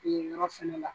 Yen yɔrɔ fɛnɛ la